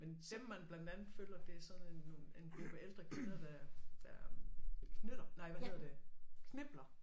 Men dem man blandt andet følger det er sådan en nogen en gruppe ældre kvinder der der knytter nej hvad hedder det knipler